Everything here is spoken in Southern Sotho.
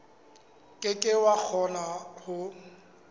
ke ke wa kgona ho